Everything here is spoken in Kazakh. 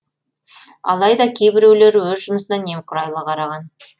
алайда кейбіреулері өз жұмысына немқұрайлы қараған